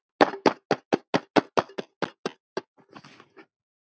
Takk fyrir allt, ástin mín.